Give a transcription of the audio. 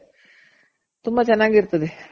ತುಂಬ ಚೆನಾಗಿರ್ತದೆ